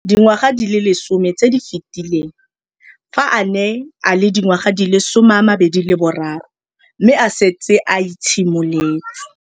Dingwaga di le 10 tse di fetileng, fa a ne a le dingwaga di le 23 mme a setse a itshimoletse.